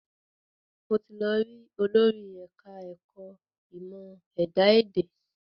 Mo ti lọ rí olórí ẹ̀ka ẹ̀kọ́ ìmọ̀ ẹ̀dá èdè